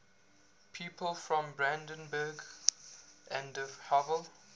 people from brandenburg an der havel